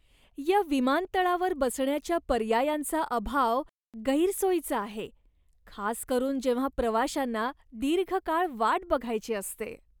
या विमानतळावर बसण्याच्या पर्यायांचा अभाव गैरसोयीचा आहे, खास करून जेव्हा प्रवाशांना दीर्घ काळ वाट बघायची असते.